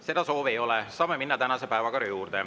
Seda soovi ei ole, saame minna tänase päevakorra juurde.